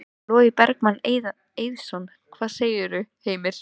Logi Bergmann Eiðsson: Hvað segirðu, Heimir?